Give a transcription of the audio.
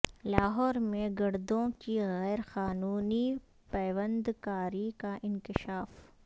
لاہورمیں گردوں کی غیر قانونی پیوند کاری کا انکشاف